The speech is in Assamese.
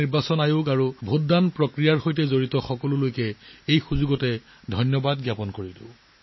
ইয়াৰ বাবে ভোটদান প্ৰক্ৰিয়াৰ সৈতে জড়িত নিৰ্বাচনী আয়োগ আৰু প্ৰতিজন ব্যক্তিক অভিনন্দন জনাইছো